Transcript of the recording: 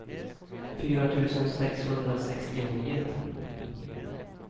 fyra tusen sexhundrasextionio